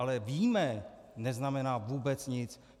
Ale víme neznamená vůbec nic.